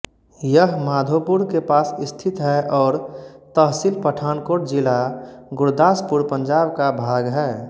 यह माधोपुर के पास स्थित है और तहसील पठानकोट जिला गुरदासपुर पंजाब का भाग है